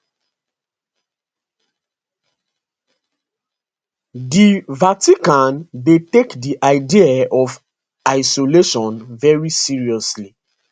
di vatican dey take di idea of isolation very seriously